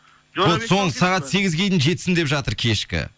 сағат сегізге дейін жетсін деп жатыр кешкі